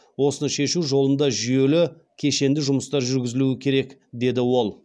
осыны шешу жолында жүйелі кешенді жұмыстар жүргізілуі керек деді ол